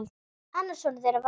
Annar sonur þeirra var Markús.